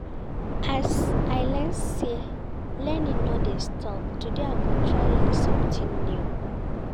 As I learn say learning no dey stop, today I go try learn sometin new.